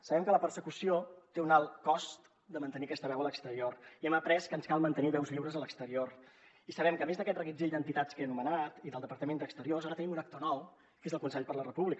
sabem que la persecució té un alt cost de mantenir aquesta veu a l’exterior i hem après que ens cal mantenir veus lliures a l’exterior i sabem que a més d’aquest reguitzell d’entitats que he anomenat i del departament d’exteriors ara tenim un actor nou que és el consell per la república